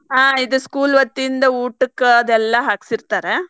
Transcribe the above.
ಹಾ ಇದ್ school ವತಿಯಿಂದ ಊಟಕ್ ಅದೆಲ್ಲಾ ಹಾಕ್ಸಿರ್ತಾರೆ.